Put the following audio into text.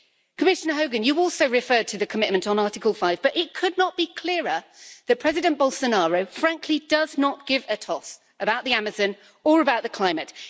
Commissioner Hogan, you also referred to the commitment on Article 5, but it could not be clearer that President Bolsonaro frankly does not give a toss about the Amazon or about the climate.